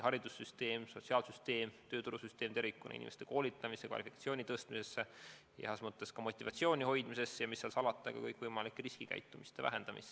Haridussüsteem, sotsiaalsüsteem ja tööturusüsteem tervikuna peab panustama inimeste koolitamisse, kvalifikatsiooni tõstmisse, heas mõttes motivatsiooni hoidmisesse ja, mis seal salata, ka kõikvõimaliku riskikäitumise vähendamisse.